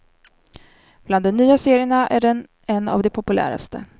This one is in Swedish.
Bland de nya serierna är den en av de populäraste.